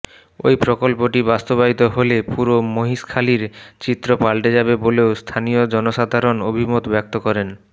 ওই প্রকল্পটি বাস্তবায়িত হলে পুরো মহেশখালীর চিত্র পাল্টে যাবে বলেও স্থানীয় জনসাধারণ অভিমত ব্যক্ত করেন